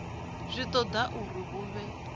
zwi toda uri hu vhe